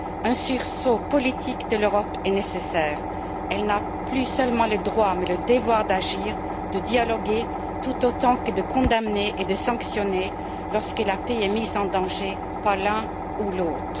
Un sursaut politique de l'Europe est nécessaire. Elle n'a plus seulement le droit mais le devoir d'agir, de dialoguer tout autant que de condamner et de sanctionner lorsque la paix est mise en danger par l'un ou l'autre.